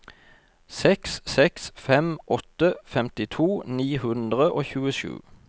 seks seks fem åtte femtito ni hundre og tjuesju